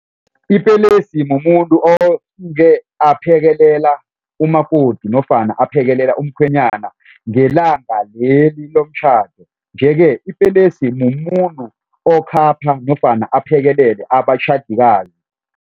Ipelesi mumuntu oke aphekelela umakoti nofana aphekelela umkhwenyana ngelanga leli lomtjhado. Yeke ipelesi mumuntu okhapha nofana aphekelele abatjhadikazi.